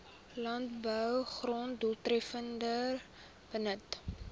landbougrond doeltreffender benut